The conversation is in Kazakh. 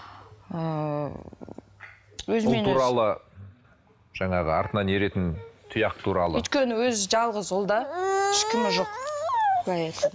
ыыы туралы жаңағы артынан еретін тұяқ туралы өйткені өзі жалғыз ұл да ешкімі жоқ былай айтқанда